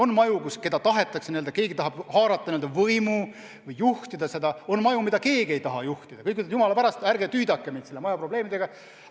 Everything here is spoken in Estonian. On maju, kus keegi tahab haarata võimu, asju juhtida, on maju, kus keegi ei taha juhtida, kõik ütlevad, et jumala pärast, ärge tüüdake mind nende probleemidega.